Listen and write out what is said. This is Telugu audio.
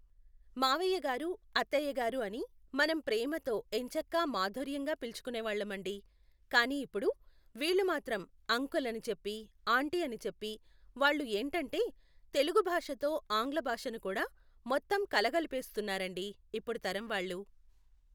మావయ్య గారు అత్తయ్య గారు అని మనం ప్రేమతో ఎంచక్కా మాధుర్యంగా పిలుచుకునేవాళ్ళమండి కానీ ఇప్పుడు వీళ్ళు మాత్రం అంకుల్ అని చెప్పి ఆంటీ అని చెప్పి వాళ్ళు ఏంటంటే తెలుగు భాషతో ఆంగ్ల భాషను కూడా మొత్తం కలగలిపేస్తున్నారండి ఇప్పుడు తరం వాళ్ళు